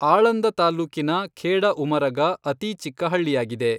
ಆಳಂದ ತಾಲ್ಲೂಕಿನ ಖೇಡಉಮರಗಾ ಅತೀ ಚಿಕ್ಕ ಹಳ್ಳಿಯಾಗಿದೆ.